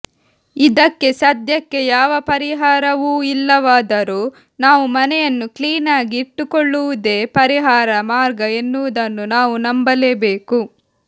ಇದಕ್ಕೆ ಸದ್ಯಕ್ಕೆ ಯಾವ ಪರಿಹಾರವೂ ಇಲ್ಲವಾದರೂ ನಾವು ಮನೆಯನ್ನು ಕ್ಲೀನಾಗಿ ಇಟ್ಟುಕೊಳ್ಳುವುದೇ ಪರಿಹಾರ ಮಾರ್ಗ ಎನ್ನುವುದನ್ನು ನಾವು ನಂಬಲೇಬೇಕು